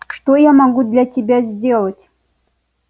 что я могу для тебя сделать